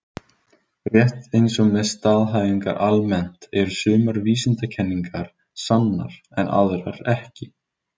Rétt eins og með staðhæfingar almennt eru sumar vísindakenningar sannar en aðrar ekki.